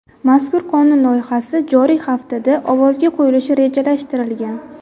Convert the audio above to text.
Mazkur qonun loyihasi joriy haftada ovozga qo‘yilishi rejalashtirilgan.